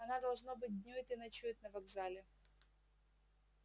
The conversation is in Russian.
она должно быть днюет и ночует на вокзале